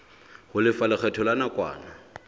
ho lefa lekgetho la nakwana